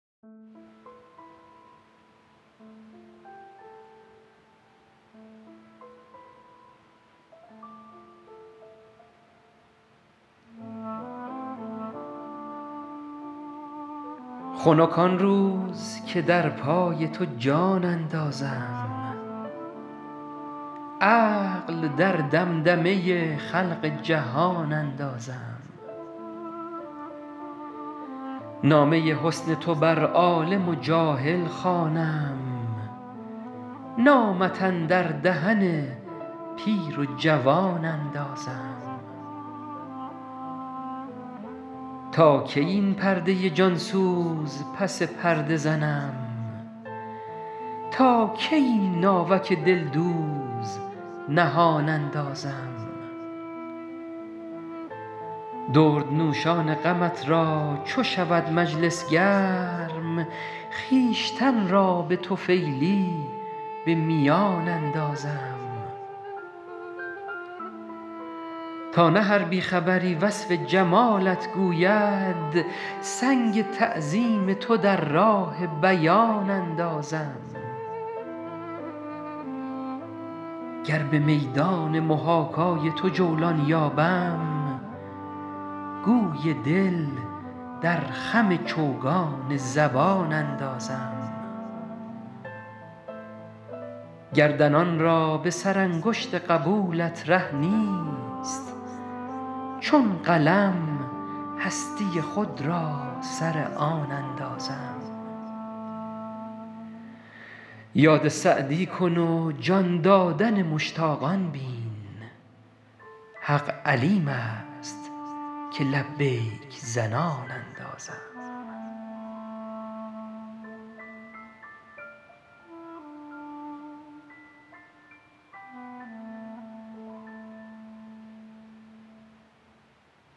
خنک آن روز که در پای تو جان اندازم عقل در دمدمه خلق جهان اندازم نامه حسن تو بر عالم و جاهل خوانم نامت اندر دهن پیر و جوان اندازم تا کی این پرده جان سوز پس پرده زنم تا کی این ناوک دلدوز نهان اندازم دردنوشان غمت را چو شود مجلس گرم خویشتن را به طفیلی به میان اندازم تا نه هر بی خبری وصف جمالت گوید سنگ تعظیم تو در راه بیان اندازم گر به میدان محاکای تو جولان یابم گوی دل در خم چوگان زبان اندازم گردنان را به سرانگشت قبولت ره نیست چون قلم هستی خود را سر از آن اندازم یاد سعدی کن و جان دادن مشتاقان بین حق علیم است که لبیک زنان اندازم